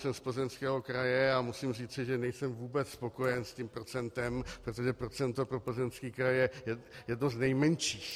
Jsem z Plzeňského kraje a musím říci, že nejsem vůbec spokojen s tím procentem, protože procento pro Plzeňský kraj je jedno z nejmenších.